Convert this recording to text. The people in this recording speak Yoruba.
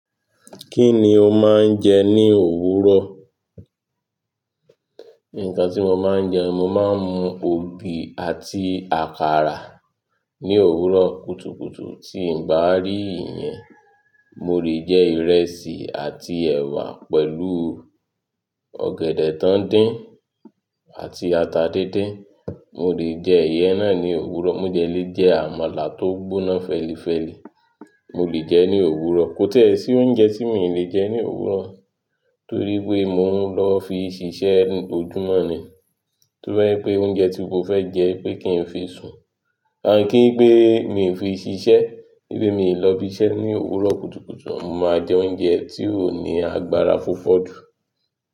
Kí ni o máa ń jẹ ní òwúrọ̀? Nǹkan tí mo máa ń jẹ, mo máa ń mu ògì àti àkàrà ní òwúrọ̀ kùtùkùtù. Tí n bá rí ìyẹn, mo lè jẹ ìrẹsì àti ẹwà pẹ̀lú ọ̀gẹ̀dẹ̀ tó ń dín àti ata díndín. Mo lè jẹ ìyẹ́n náà ní òwúrọ̀. Mo de le jẹ àmàlà tó gbóná fẹ́lífẹ́lí, mo lè jẹ ẹ́ ní òwúrọ̀. Kò tie sí oúnjẹ tí mi ò lè jẹ ní òwúrọ̀ torí pé mò ń lọ fi ṣiṣẹ́ ojúmọ́ ni. Toba je pé oúnjẹ tí mo fẹ́ jẹ pé kí n fi sùn à kí gbé mi fi ṣiṣẹ́, bí mi lọ ibi iṣẹ́ ní òwúrọ̀ kùtùkùtù, mo máa jẹ oúnjẹ tí ó ní agbára fófódú.